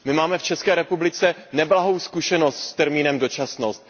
My máme v České republice neblahou zkušenost s termínem dočasnost.